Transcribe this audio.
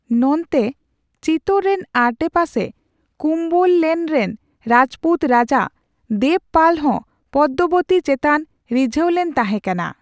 ᱱᱚᱱᱛᱮ, ᱪᱤᱛᱳᱨ ᱨᱮᱱ ᱟᱰᱮᱯᱟᱥᱮ ᱠᱩᱢᱣᱚᱞᱱᱮᱞ ᱨᱮᱱ ᱨᱟᱡᱯᱩᱛ ᱨᱟᱡᱟ ᱫᱮᱵᱯᱟᱞ ᱦᱚ ᱯᱚᱫᱫᱚᱵᱚᱛᱤ ᱪᱮᱛᱟᱱ ᱨᱤᱡᱦᱟᱹᱞᱮᱱ ᱛᱟᱦᱮᱠᱟᱱᱟ ᱾